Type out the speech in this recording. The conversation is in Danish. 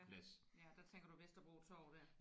Ja der tænker du Vesterbro Torv der?